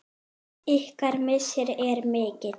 Ykkar missir er mikil.